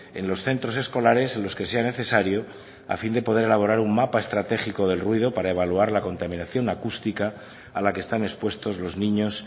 en los centros escolares en los que sea necesario a fin de poder elaborar un mapa estratégico del ruido para evaluar la contaminación acústica a la que están expuestos los niños